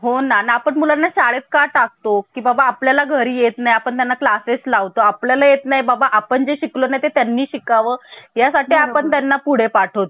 आपण अंमलात आणली होती आणि त्या दिवशी घटनेमध्ये बावीस भाग होते. तीनशे पंच्यान्नव कलम होते. आणि आठ हे परिशिष्ट होते किती बावीस भाग, तीनशे पंच्यान्नव कलम, आठ परिशिष्ट होते.